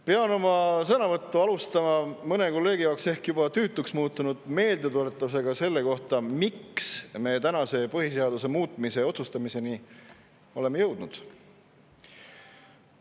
Pean oma sõnavõttu alustama mõne kolleegi jaoks ehk juba tüütuks muutunud meeldetuletusega, miks me tänase põhiseaduse muutmise otsustamiseni oleme jõudnud.